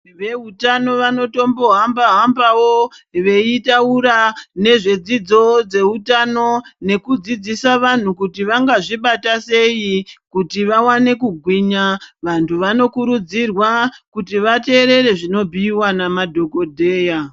Vehutano vanotombo hamba-hambavo, veitaura nezvedzidzo dzeutano nekudzidzisa vantu kuti vangazvibata sei kuti vavane kugwinya. Vantu vanokurudzirwa kuti vaterere zvinobhuiva nemadzogodheya.